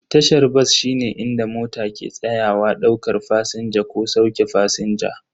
Tashar bas shine inda mota ke tsayawa daukar fasinja ko sauke fasinja.